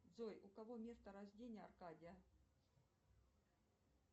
джой у кого место рождения аркадия